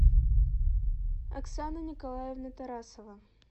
оксана николаевна тарасова